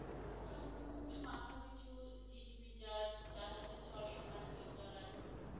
উম মাথা পিছু GDP যার চার হাজার ছয়শো মার্কিন ডলার